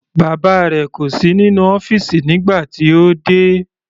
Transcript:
Bàbá rẹ̀ kò sí nínú ọ́fìsì nígbà tí ó dé.